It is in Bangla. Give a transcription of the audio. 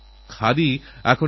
খেলাতেআমাদের প্রাণ তোমরা